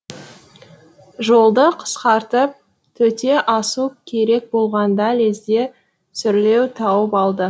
жолды қысқартып төте асу керек болғанда лезде сүрлеу тауып алды